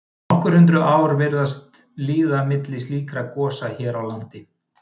nokkur hundruð ár virðast líða milli slíkra gosa hér á landi